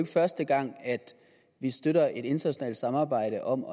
første gang at vi støtter et internationalt samarbejde om